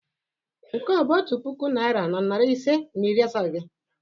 Nke a ọ bụ otu puku naịra na narị ise na iri asaa gi?